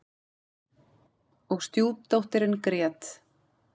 Og stjúpdóttirin grét.